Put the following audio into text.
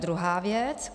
Druhá věc.